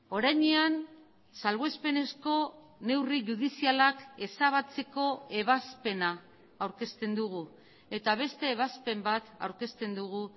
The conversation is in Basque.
orainean salbuespenezko neurri judizialak ezabatzeko ebazpena aurkezten dugu eta beste ebazpen bat aurkezten dugu